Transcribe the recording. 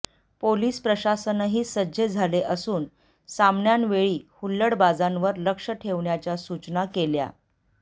police प्रशासनही सज्ज झाले असून सामन्यांवेळी हुल्लडबाजांवर लक्ष ठेवण्याच्या सुचना केल्या